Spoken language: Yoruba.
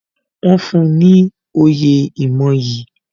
Wọn fún ní oyè ìmoyì